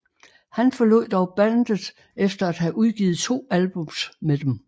Han forlod dog bandet efter at have udgivet to albums med dem